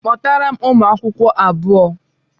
Kpọtara m ụmụakwụkwọ abuo!